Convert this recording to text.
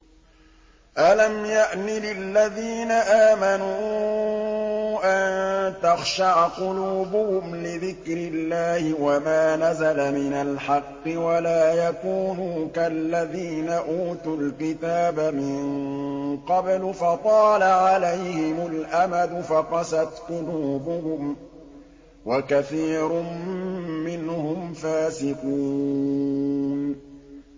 ۞ أَلَمْ يَأْنِ لِلَّذِينَ آمَنُوا أَن تَخْشَعَ قُلُوبُهُمْ لِذِكْرِ اللَّهِ وَمَا نَزَلَ مِنَ الْحَقِّ وَلَا يَكُونُوا كَالَّذِينَ أُوتُوا الْكِتَابَ مِن قَبْلُ فَطَالَ عَلَيْهِمُ الْأَمَدُ فَقَسَتْ قُلُوبُهُمْ ۖ وَكَثِيرٌ مِّنْهُمْ فَاسِقُونَ